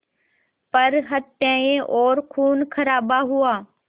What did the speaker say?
पर हत्याएं और ख़ूनख़राबा हुआ